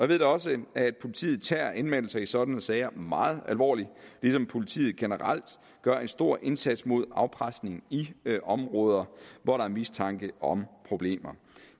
ved da også at politiet tager anmeldelser i sådanne sager meget alvorligt ligesom politiet generelt gør en stor indsats mod afpresning i områder hvor der er mistanke om problemer